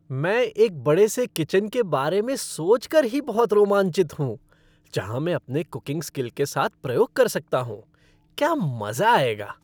मैं एक बड़े से किचन के बारे में सोच कर ही बहुत रोमांचित हूँ जहां मैं अपने कुकिंग स्किल के साथ प्रयोग कर सकता हूँ। क्या मज़ा आएगा!